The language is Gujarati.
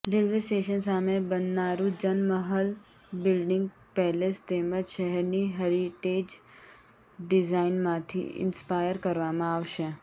રેલ્વે સ્ટેશન સામે બનનારું જનમહલ બિલ્ડિંગ પેલેસ તેમજ શહેરની હેરિટેજ ડિઝાઇનમાંથી ઇન્સ્પાયર કરવામાં આવશે